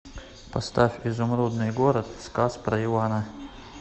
поставь изумрудный город сказ про ивана